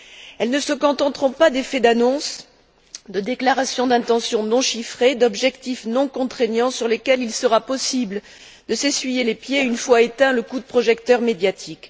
Elles ne se contenteront pas d'effets d'annonce, de déclarations d'intention non chiffrées, d'objectifs non contraignants sur lesquels il sera possible de s'essuyer les pieds une fois éteint le coup de projecteur médiatique.